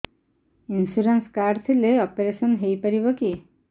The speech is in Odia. ଇନ୍ସୁରାନ୍ସ କାର୍ଡ ଥିଲେ ଅପେରସନ ହେଇପାରିବ କି